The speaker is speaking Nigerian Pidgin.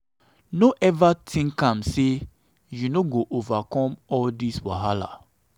no eva tink am sey sey you no fit overcome all dis wahala.